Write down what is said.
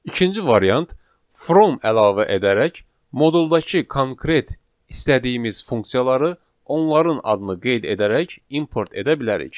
İkinci variant from əlavə edərək moduldakı konkret istədiyimiz funksiyaları onların adını qeyd edərək import edə bilərik.